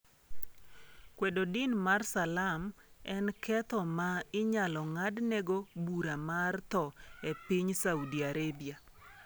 Kwedo din mar salam en ketho ma inyalo ng'adnegi bura mar tho e piny Saudi Arabia.